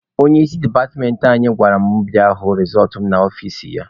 Onye isi departmentị anyị gwara m bịa hụ rezọltụ m n'ọfici ya.